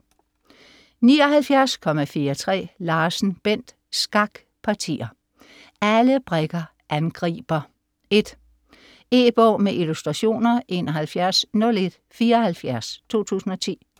79.43 Larsen, Bent: Skakpartier!: Alle brikker angriber: 1 E-bog med illustrationer 710174 2010.